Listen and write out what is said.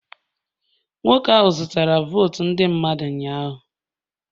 Nwoke ahụ zụtara votu ndị mmadụ ụnyahụ